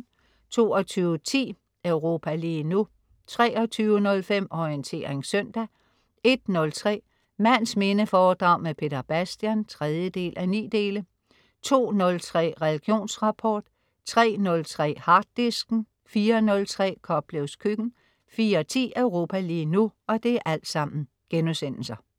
22.10 Europa lige nu* 23.05 Orientering søndag* 01.03 Mands minde foredrag med Peter Bastian 3:9* 02.03 Religionsrapport* 03.03 Harddisken* 04.03 Koplevs Køkken* 04.10 Europa lige nu*